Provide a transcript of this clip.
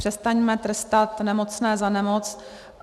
Přestaňme trestat nemocné za nemoc.